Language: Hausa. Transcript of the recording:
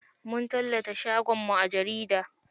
Mun tallata shagon mu a jarida.